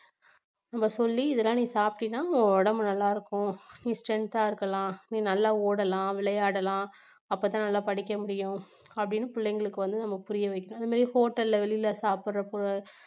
நம்ம சொல்லி இதெல்லாம் நீ சாப்பிட்டேன்னா உன் உடம்பு நல்லாயிருக்கும் நீ strength ஆ இருக்கலாம் நீ நல்லா ஓடலாம், விளையாடலாம் அப்பத்தான் நல்ல படிக்கமுடியும் அப்படின்னு பிள்ளைங்களுக்கு வந்து நம்ம புரியவைக்கணும் அந்த மாதிரி hotel ல வெளியில சாப்பிடறப்ப